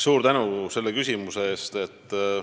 Suur tänu selle küsimuse eest!